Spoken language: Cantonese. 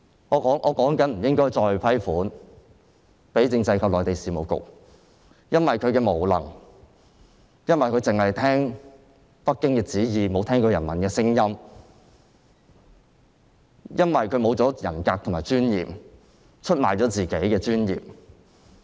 我正談及不應再撥款給政制及內地事務局，因為局長無能，只聽北京的旨意，沒有聽人民的聲音，沒有人格尊嚴，出賣了自己的尊嚴。